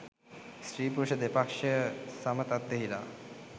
ස්ත්‍රී, පුරුෂ දෙපක්‍ෂය සම තත්ත්වයෙහි ලා